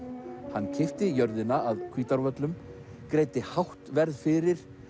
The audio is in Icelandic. hann keypti jörðina að Hvítárvöllum greiddi hátt verð fyrir